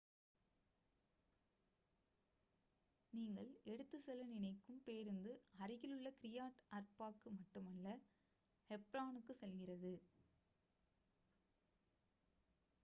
நீங்கள் எடுத்து செல்ல நினைக்கும் பேருந்து அருகிலுள்ள கிரியாட் அர்பாக்கு மட்டுமல்ல ஹெப்ரானுக்கு செல்கிறது